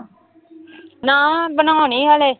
ਨਾ ਬਣਾਉਣੀ ਹਲੇ।